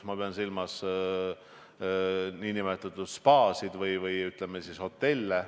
Ma pean silmas spaasid või, ütleme, hotelle.